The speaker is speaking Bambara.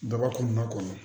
Daba kun b'a kɔnɔ